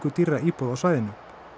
dýrra íbúða á svæðinu